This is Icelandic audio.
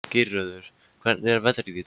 Geirröður, hvernig er veðrið í dag?